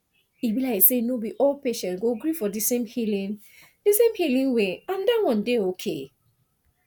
e be like say no be all patients go gree for di same healing di same healing way and dat wan dey okay